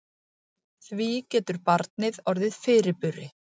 Því getur barnið orðið fyrirburi.